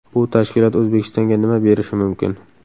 Bu tashkilot O‘zbekistonga nima berishi mumkin?.